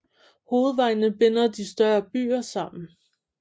Hovedvejene binder de større byer sammen